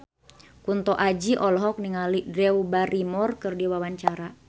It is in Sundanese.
Kunto Aji olohok ningali Drew Barrymore keur diwawancara